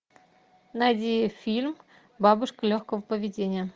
найди фильм бабушка легкого поведения